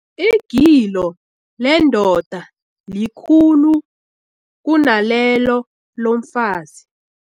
Igilo lendoda likhulu kunalelo lomfazi.